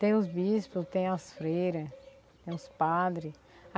Tem os bispos, tem as freira, tem os padre.